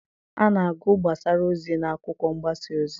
A na-agụ gbasara ozi n'akwụkwọ mgbasa ozi